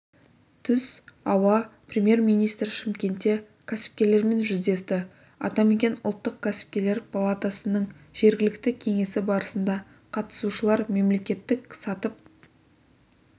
түс ауа премьер-министр шымкентте кәсіпкерлермен жүздесті атамекен ұлттық кәсіпкерлер палатасының жергілікті кеңесі барысында қатысушылар мемлекеттік сатып